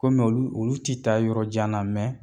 Kɔmi olu olu ti taa yɔrɔ jan na